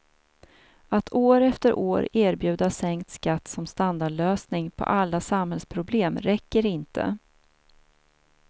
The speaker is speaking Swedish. Att år efter år erbjuda sänkt skatt som standardlösning på alla samhällsproblem räcker inte.